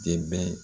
Dɛmɛ